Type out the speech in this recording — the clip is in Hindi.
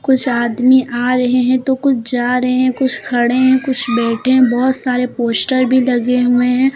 कुछ आदमी आ रहे हैं तो कुछ जा रहे हैं कुछ खड़े हैं कुछ बैठे हैं बहुत सारे पोस्टर भी लगे हुए हैं।